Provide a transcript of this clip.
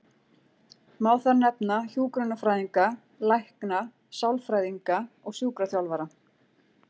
Má þar nefna hjúkrunarfræðinga, lækna, sálfræðinga og sjúkraþjálfara.